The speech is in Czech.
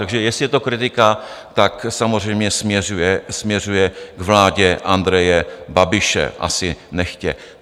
Takže jestli je to kritika, tak samozřejmě směřuje k vládě Andreje Babiše, asi nechtě.